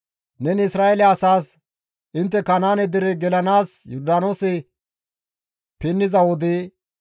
Neni Isra7eele asaas, «Intte Kanaane dere gelanaas Yordaanoose pinniza wode,